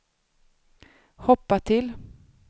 hoppa till